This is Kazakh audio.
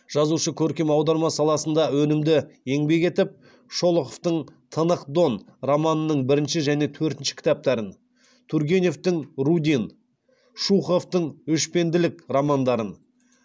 жазушы көркем аударма саласында да өнімді еңбек етіп шолоховтың тынық дон романының бірінші және төртінші кітаптарын тургеневтің рудин шуховтың өшпенділік романдарын